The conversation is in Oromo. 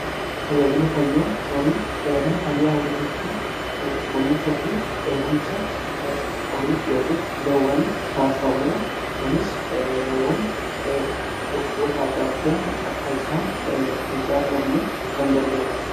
Tajaajila fayyaa horii: Tajaajila fayyaa horii jechuun kunuunsa fi eegumsa horiif yookiin loowwaniif taasifamuudha. Kunis loowwan dhukkuboota adda addaan akka isaan hin saaxilamneef kan gargaarudha.